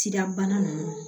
Sida bana ninnu